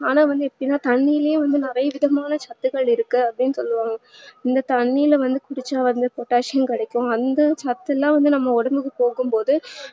ஆனா வந்து எப்டினா தன்னிலே வந்து நிறைய விதமான சத்துக்கள் இருக்கு அப்டின்னு சொல்லுவாங்க இந்த தண்ணீல வந்து குடிச்சா potassium கிடைக்கும் அந்த சத்துளா நம்ம உடம்புக்கு போகும் போது